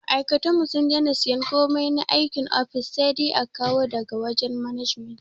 Ma aikatanmu sun dena siyan komai na aikin ofis, sai dai a kawo da ga wajen management